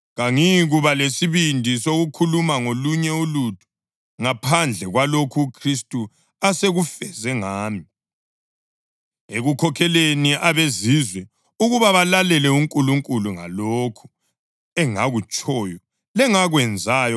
Kangiyikuba lesibindi sokukhuluma ngolunye ulutho ngaphandle kwalokho uKhristu asekufeze ngami ekukhokheleni abeZizwe ukuba balalele uNkulunkulu ngalokhu engakutshoyo lengakwenzayo,